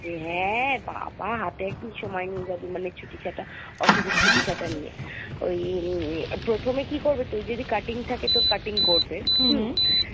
হ্যা বাবা! হাতে একদিন সময় নিয়ে যাবি মানে ছুটিছাটা office এর ছুটিছাটা নিয়ে ওই ই~ই~ইয়ে হম প্রথমে কী করবে তুই যদি cutting থাকে তোর cutting করবে